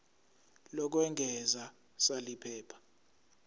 lokwengeza sal iphepha